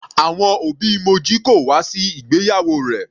Àwọn òbí Moji kò wá sí ìgbéyàwó rẹ̀.